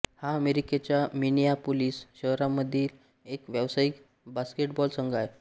हा अमेरिकेच्या मिनियापोलिस शहरामधील एक व्यावसायिक बास्केटबॉल संघ आहे